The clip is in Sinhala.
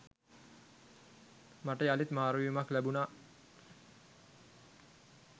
මට යළිත් මාරුවීමක් ලැබුණා.